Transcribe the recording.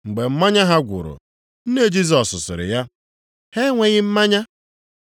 Mgbe mmanya ha gwụrụ, nne Jisọs sịrị ya, “Ha enweghị mmanya.”